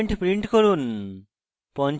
সকল elements print করুন